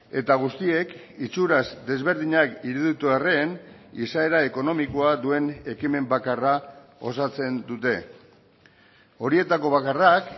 eta guztiek itxuraz desberdinak iruditu arren izaera ekonomikoa duen ekimen bakarra osatzen dute horietako bakarrak